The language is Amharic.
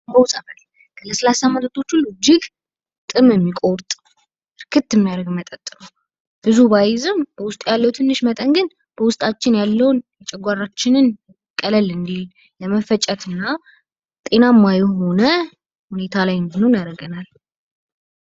አምቦ ጠበል ለስላሳ መጠጦች ሁሉ እጅግ ጥም የሚቆርጥ፣ እክት የሚያደርግ መጠጥ ነው። ብዙ ባይዝም ውስጥ ያለው ትንሽ መጠን ግን ውስጣችን ያለውን ጨጓራችንን ቀለል እንዲል ለመፈጨት እና ጤናማ የሆነ ሁኔታ ላይ እንድንሆን ያደርገናል።